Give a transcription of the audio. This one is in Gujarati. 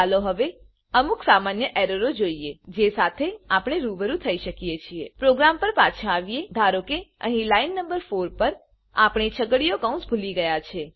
ચાલો હવે ઔમ્ક સમાન્ય એરરો જોઈએ જે સાથે આપણે રૂબરૂ થઈ શકીએ છીએ પ્રોગ્રામ પર પાછા આવીએ ધારો કે અહી લાઈન નંબર 4 પર આપણે છગડીયા કૌંસ ભૂલીએ છે